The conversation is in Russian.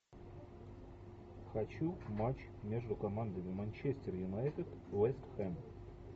хочу матч между командами манчестер юнайтед вест хэм